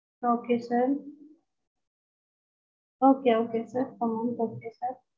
okay sir okay okay sir per month okay sir